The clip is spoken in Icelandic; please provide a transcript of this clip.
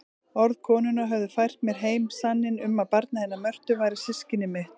Orð konunnar höfðu fært mér heim sanninn um að barnið hennar Mörtu væri systkini mitt.